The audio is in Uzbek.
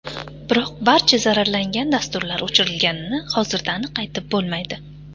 Biroq barcha zararlangan dasturlar o‘chirilganini hozirda aniq aytib bo‘lmaydi.